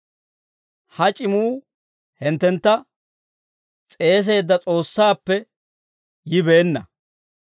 Ha c'imuu hinttentta s'eeseedda S'oossaappe yibeenna.